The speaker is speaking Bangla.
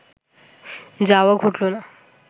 যাওয়া ঘটল না।